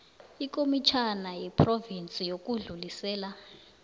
ikomitjhana yephrovinsi yokudlulisela